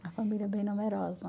família bem numerosa.